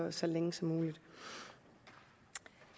og så længe som muligt